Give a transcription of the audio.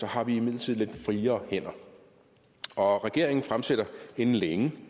har vi imidlertid lidt friere hænder og regeringen fremsætter inden længe